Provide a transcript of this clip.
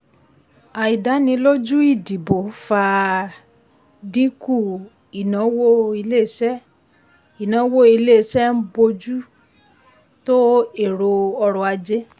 àìdánilójú ìdìbò fa dínkù ìnáwó iléeṣẹ́ ń ìnáwó iléeṣẹ́ ń bójú tó ètò ọrò ajé.